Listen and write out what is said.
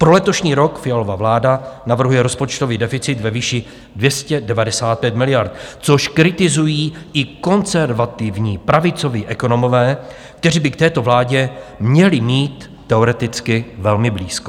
Pro letošní rok Fialova vláda navrhuje rozpočtový deficit ve výši 295 miliard, což kritizují i konzervativní pravicoví ekonomové, kteří by k této vládě měli mít teoreticky velmi blízko.